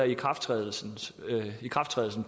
ikrafttrædelsen ikrafttrædelsen